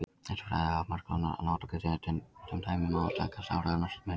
Þessi fræði hafa margs konar notagildi en sem dæmi má taka stafrænar myndavélar.